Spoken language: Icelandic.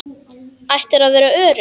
Áttirðu að vera örugg?